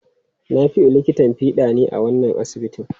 Nafiu likitan fiɗa ne a wannan asibitin.